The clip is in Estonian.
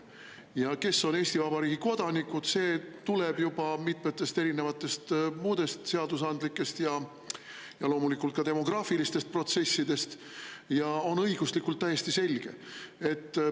Ja kes on Eesti Vabariigi kodanikud, see tuleneb juba mitmetest muudest seadusandlikest ja loomulikult ka demograafilistest protsessidest ja on õiguslikult täiesti selge.